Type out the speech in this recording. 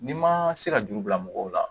N'i ma se ka juru bila mɔgɔw la